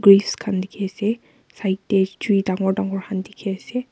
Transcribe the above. graves khan dikhi ase side de tree dangor dangor khan dikhi ase.